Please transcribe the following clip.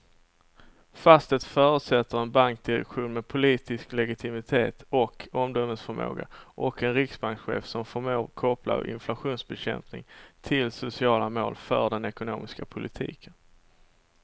Fast det förutsätter en bankdirektion med politisk legitimitet och omdömesförmåga och en riksbankschef som förmår koppla inflationsbekämpning till sociala mål för den ekonomiska politiken.